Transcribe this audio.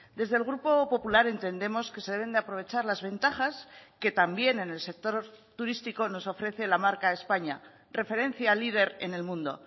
desde el grupo popular entendemos que se deben de aprovechar las ventajas que también en el sector turístico nos ofrece la marca españa referencia líder en el mundo